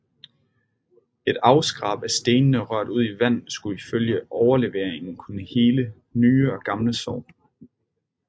Et afskrab af stenene rørt ud i vand skulle ifølge overleveringen kunne hele nye og gamle sår